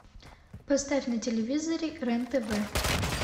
поставь на телевизоре рен тв